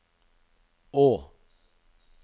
å